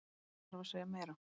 Þarf að segja meira?